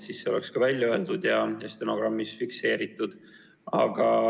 See on siis ka välja öeldud ja saab stenogrammis fikseeritud.